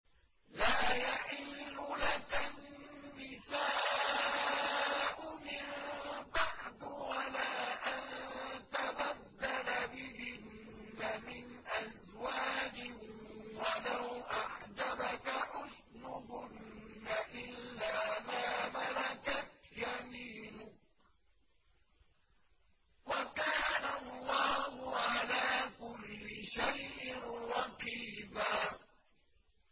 لَّا يَحِلُّ لَكَ النِّسَاءُ مِن بَعْدُ وَلَا أَن تَبَدَّلَ بِهِنَّ مِنْ أَزْوَاجٍ وَلَوْ أَعْجَبَكَ حُسْنُهُنَّ إِلَّا مَا مَلَكَتْ يَمِينُكَ ۗ وَكَانَ اللَّهُ عَلَىٰ كُلِّ شَيْءٍ رَّقِيبًا